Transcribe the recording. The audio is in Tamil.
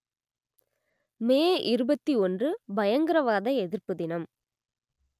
மே இருபத்தி ஒன்று பயங்கரவாத எதிர்ப்பு தினம்